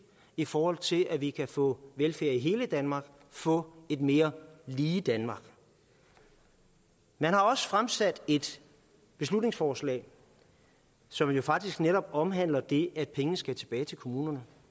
i forhold til at vi kan få velfærd i hele danmark få et mere lige danmark man har også fremsat et beslutningsforslag som jo faktisk netop omhandler det at pengene skal tilbage til kommunerne